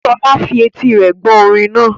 Sola fi etí rẹ̀ gbọ́ orin náà.